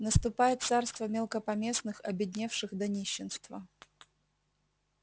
наступает царство мелкопоместных обедневших до нищенства